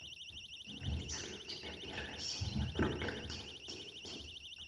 имеется ли у тебя первая серия бруклин девять девять